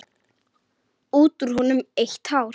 Út úr honum eitt hár.